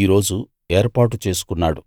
ఈ రోజు ఏర్పాటు చేసుకున్నాడు